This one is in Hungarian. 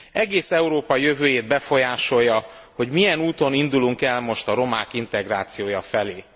Egész Európa jövőjét befolyásolja, hogy milyen úton indulunk el most a romák integrációja felé.